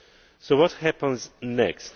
So what happens next?